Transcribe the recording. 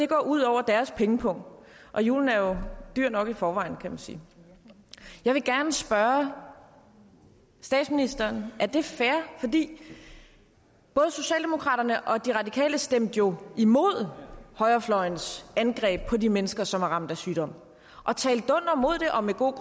går ud over deres pengepung og julen er jo dyr nok i forvejen kan man sige jeg vil gerne spørge statsministeren er det fair både socialdemokraterne og de radikale stemte jo imod højrefløjens angreb på de mennesker som er ramt af sygdom og talte dunder mod det og med god